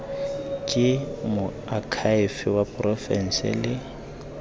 ke moakhaefe wa porofense le